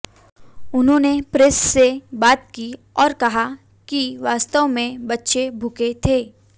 उन्होने प्रेस से बात की और कहा कि वास्तव में बच्चे भूखे थे